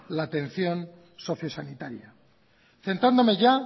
la atención socio sanitaria centrándome ya